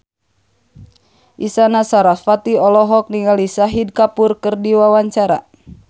Isyana Sarasvati olohok ningali Shahid Kapoor keur diwawancara